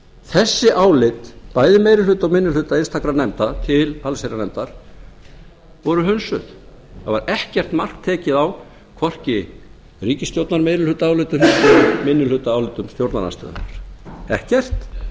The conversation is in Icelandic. þessi álit bæði meiri hluta og minni hluta einstakra nefnda til allsherjarnefndar voru hundsuð það var ekkert mark tekið á hvorki ríkisstjórnarmeirihlutaálitunum né minnihlutaáliti stjórnarandstöðunnar ekkert og